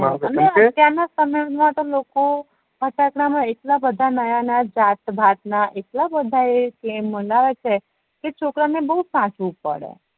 અત્યાર ના સમયમાં તો લોકો ફટાકડા મા એટલા બધા નયા નયા જાત ભાત ના એટલા બધા એ મનાવે છે કે છોકરાઓ ને બવ સાચવું પડે